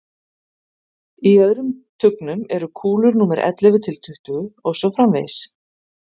í öðrum tugnum eru kúlur númer ellefu til tuttugu og svo framvegis